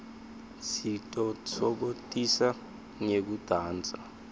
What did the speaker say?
sititfokotisa ngekudansa